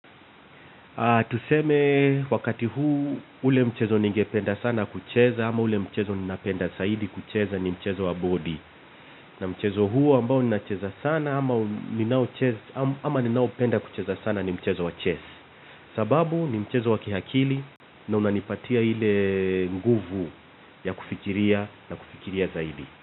Tuseme wakati huu ule mchezo ningependa sana kucheza ama ule mchezo ninapenda zaidi kucheza ni mchezo wa bodi. Na mchezo huu ambao ninacheza sana ama ninaopenda kucheza sana ni mchezo wa chess. Sababu ni mchezo wa kiakili na unanipatia ile nguvu ya kufikiria na kufikiria zaidi.